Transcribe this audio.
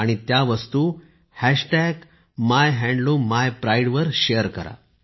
आणि त्या वस्तू मायहँडलूमीप्राईड वर शेयर करा